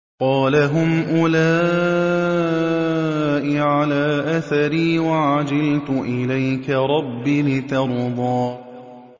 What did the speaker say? قَالَ هُمْ أُولَاءِ عَلَىٰ أَثَرِي وَعَجِلْتُ إِلَيْكَ رَبِّ لِتَرْضَىٰ